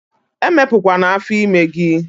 Emepu kwana afo ime gi!